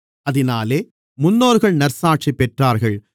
அதினாலே முன்னோர்கள் நற்சாட்சி பெற்றார்கள்